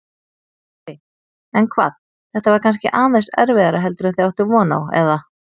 Andri: En hvað, þetta var kannski aðeins erfiðara heldur en þið áttuð von á, eða?